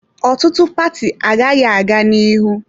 Ọtụtụ paati agaghị aga n'ihu.